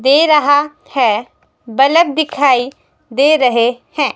दे रहा है बलब दिखाई दे रहे हैं।